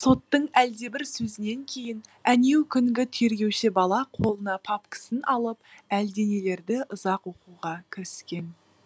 соттың әлдебір сөзінен кейін әнеукүнгі тергеуші бала қолына папкісін алып әлденелерді ұзақ оқуға кіріскен